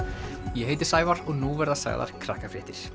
ég heiti Sævar og nú verða sagðar